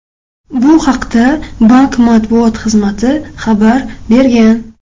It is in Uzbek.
Bu haqda bank matbuot xizmati xabar bergan .